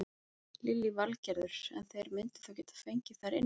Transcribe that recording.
Lillý Valgerður: En þeir myndu þá geta fengið þar inni?